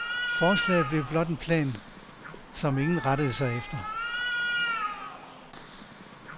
Forslaget blev blot en plan, som ingen rettede sig efter.